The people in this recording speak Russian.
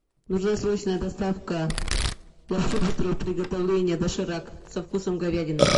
нужна срочная доставка лапши быстрого приготовления доширак со вкусом говядины